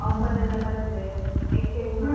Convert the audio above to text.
offer ಎಲ್ಲ ಬಂದ್ರೆ exchange ಮಾಡಿ.